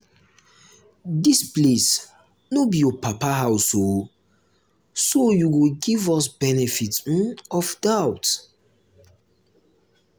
dis place no be your papa um house oo so you go give us benefit um of doubt